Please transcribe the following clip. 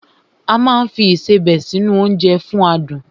A máa ń fi Ìṣebẹ̀ sí nu oúnjẹ fún adùn